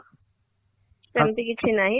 ସେମିତି କିଛି ନାହିଁ